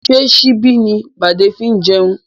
Ṣé síbi ni bade fi ń jẹun?